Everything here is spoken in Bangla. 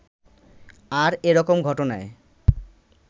আর এরকম ঘটনায়